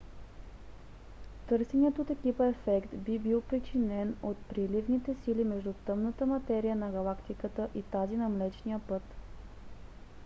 търсеният от екипа ефект би бил причинен от приливните сили между тъмната материя на галактиката и тази на млечния път